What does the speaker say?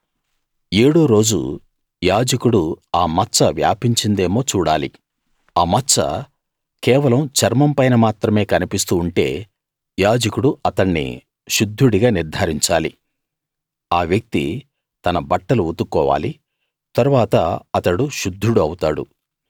ఏడో రోజు యాజకుడు ఆ మచ్చ వ్యాపించిందేమో చూడాలి ఆ మచ్చ కేవలం చర్మం పైన మాత్రమే కనిపిస్తూ ఉంటే యాజకుడు అతణ్ణి శుద్ధుడిగా నిర్థారించాలి ఆ వ్యక్తి తన బట్టలు ఉతుక్కోవాలి తరువాత అతడు శుద్ధుడు అవుతాడు